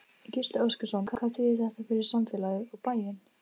Gísli Óskarsson: Hvað þýðir þetta fyrir samfélagið, og bæinn?